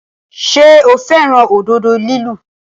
Ṣé o fẹ́ràn òdodo lílu?